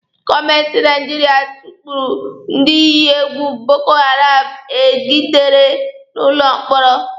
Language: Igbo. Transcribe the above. Gọọmenti Naijiria tukpuru ndị iyi egwu Boko Haram egidere n'ụlọ mkpọrọ